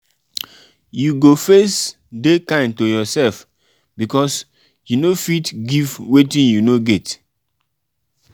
you go first de kind to yourself because you no fit give wetin you no get